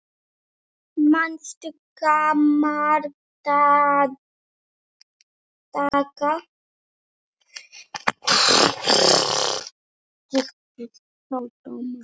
Manstu gamla daga?